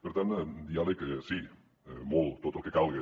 per tant diàleg sí molt tot el que calga